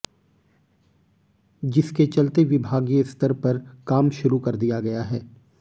जिसके चलते विभागीय स्तर पर काम शुरू कर दिया गया है